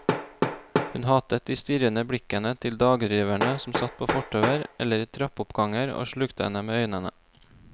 Hun hatet de strirrende blikkende til dagdriverne som satt på fortauer eller i trappeoppganger og slukte henne med øynene.